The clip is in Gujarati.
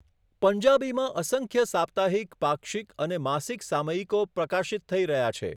પંજાબીમાં અસંખ્ય સાપ્તાહિક, પાક્ષિક અને માસિક સામયિકો પ્રકાશિત થઈ રહ્યા છે.